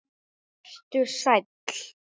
Vertu sæll.